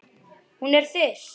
Hún er þyrst.